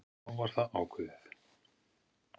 Þá var það ákveðið.